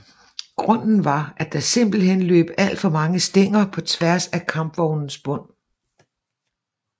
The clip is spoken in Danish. Grunden var at der simpelthen løb alt for mange stænger på tværs af kampvognens bund